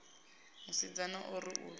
musidzana o ri u tsa